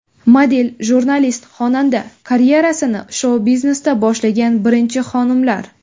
Model, jurnalist, xonanda karyerasini shou-biznesda boshlagan birinchi xonimlar .